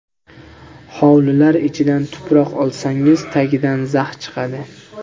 Hovlilar ichidan tuproq olsangiz, tagidan zax chiqadi.